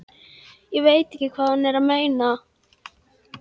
Ég veit ekki hvað hún er að meina.